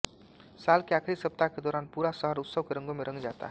साल के आखिरी सप्ताह के दौरान पूरा शहर उत्सव के रंगों में रंग जाता है